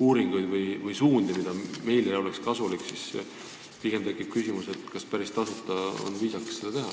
uuringuid, mis meile oleks kasulikud, siis tekib küsimus, kas mitte midagi maksmata on viisakas seda nõuda.